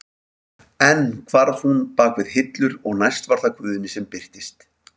Enn hvarf hún bak við hillur og næst var það Guðni sem birtist.